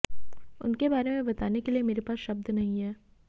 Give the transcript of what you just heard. उनके बारे में बताने के लिए मेरे पास शब्द नहीं हैं